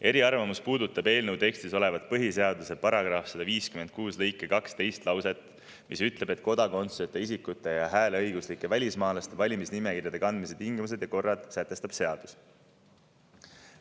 Eriarvamus puudutab eelnõu tekstis olevat põhiseaduse § 156 lõike 2 teist lauset, mis ütleb, et kodakondsuseta isikute ja hääleõiguslike välismaalaste valimisnimekirjadesse kandmise tingimused ja korra sätestab seadus.